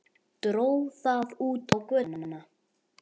Dró það út á götuna.